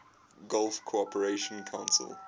gulf cooperation council